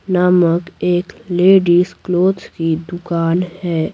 नामक एक ladies clothes की दुकान है।